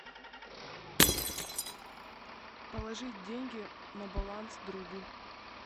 положить деньги на баланс другу